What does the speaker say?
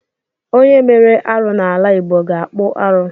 Onye mere arụ n’ala Igbo ga-akpụ arụ